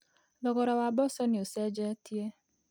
Thogora wa mboco nĩ ũcenjetie.